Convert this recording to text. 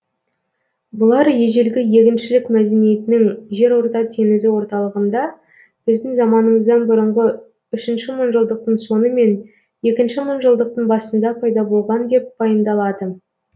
бұлар ежелгі егіншілік мәдениетінің жерорта теңізі орталығында біздің заманымыздан бұрынғы үшінші мыңжылдықтың соңы мен екінші мыңжылдықтың басында пайда болған деп пайымдалады